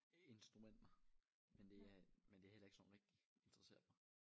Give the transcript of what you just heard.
Instrumenter men det er men det er heller ikke sådan rigtig interesseret mig